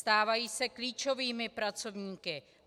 Stávají se klíčovými pracovníky.